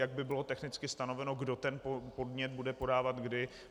Jak by bylo technicky stanoveno, kdo ten podnět bude podávat, kdy?